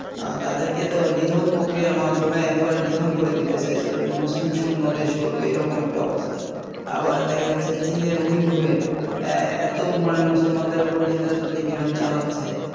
আহ তাদেরকে তো নিধন পক্রিয়ার মাধ্যমে একেবারে নিধন করে দিতে চাইছিলো যে মুসলিম শুন্য দেশ করবে এরকম একটা অবস্থা আবার দেখা যাচ্ছে যে China এর Uighur এ অ্যাঁ এতো মুসলমানদের ওপর নির্যাতন নিপীড়ন চালাচ্ছে